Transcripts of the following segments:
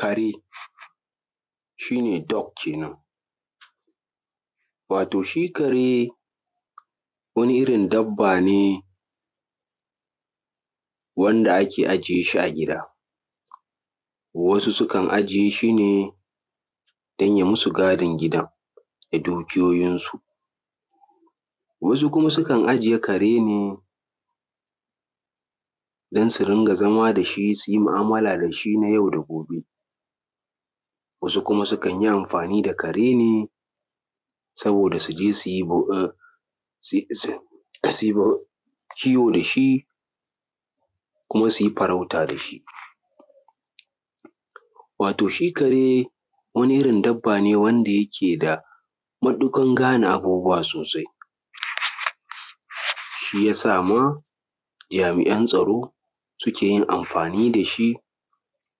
kare shi ne doog kenan, wato shi kare wani irin dabba ne wanda ake ajiye shi a gida wasu sukan ajiye shi ne don ya musu gadin gidan da dukiyoyinsu; wasu kuma sukan ajiye kare ne dan su rinƙa zama da shi, su yi ma’amala da shi na yau da gobe; wasu kuma sukan yi amfani da kare ne saboda su je, su yi kiwo da shi kuma su yi farauta da shi. wato shi kare wani irin dabba ne wanda yake da matuƙar gane abubuwa sosai shi yasa ma jami’an tsaro, suke yin amfani da shi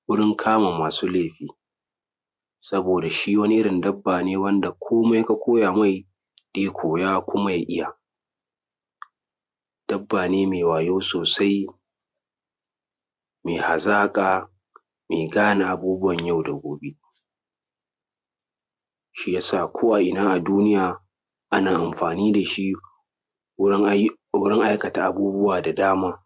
wurin kama masu laifi; saboda shi wani irin dabba ne wanda ko:mai ka koya mai, ya koya kuma ya iya. Dabba ne mai wayo sosai, mai hazaƙa, mai gane abubuwan yau da gobe; shi yasa ko’ina a duniya ana yin amfani da shi wurin aikata abubuwa da dama.